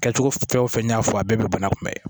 Kɛcogo fɛn o fɛn n y'a fɔ a bɛɛ bɛ bana kunbɛn